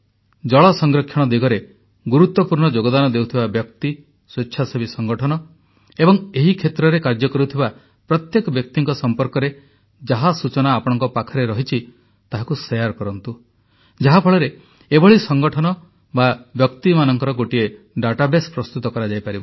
ଜଳ ସଂରକ୍ଷଣ ଦିଗରେ ଗୁରୁତ୍ୱପୂର୍ଣ୍ଣ ଯୋଗଦାନ ଦେଉଥିବା ବ୍ୟକ୍ତି ସ୍ୱେଚ୍ଛାସେବୀ ସଂଗଠନ ଏବଂ ଏହି କ୍ଷେତ୍ରରେ କାର୍ଯ୍ୟ କରୁଥିବା ପ୍ରତ୍ୟେକ ବ୍ୟକ୍ତିଙ୍କ ସମ୍ପର୍କରେ ଯାହା ସୂଚନା ଆପଣଙ୍କ ପାଖରେ ରହିଛି ତାହାକୁ ଶେୟାର କରନ୍ତୁ ଯାହାଫଳରେ ଏଭଳି ସଂଗଠନ ବା ବ୍ୟକ୍ତିମାନଙ୍କର ଗୋଟିଏ ଡାଟାବେସ୍ ପ୍ରସ୍ତୁତ କରାଯାଇପାରିବ